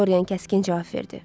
Dorian kəskin cavab verdi.